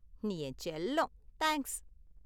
நீ என் செல்லம்! தேங்க்ஸ்!